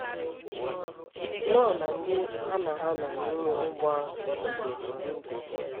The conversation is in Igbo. Noa na ndị ya na ha nọ n’ime ụgbọ ahụ dịgidere ndụ.